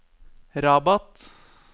Rabat